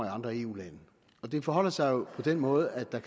i andre eu lande det forholder sig jo på den måde at der